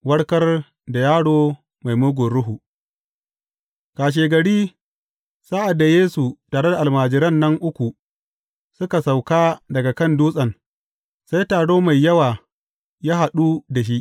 Warkar da yaro mai mugun ruhu Kashegari, sa’ad da Yesu tare da almajiran nan uku suka sauka daga kan dutsen, sai taro mai yawa ya haɗu da shi.